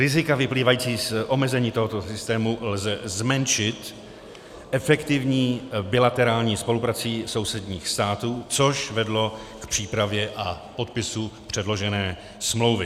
Rizika vyplývající z omezení tohoto systému lze zmenšit efektivní bilaterální spoluprací sousedních států, což vedlo k přípravě a podpisu předložené smlouvy.